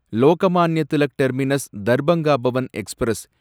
Lokmanya Tilak terminus Darbhanga Pawan express